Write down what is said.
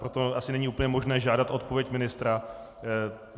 Proto asi není úplně možné žádat odpověď ministra.